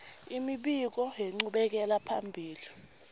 imibiko yenchubekela phambili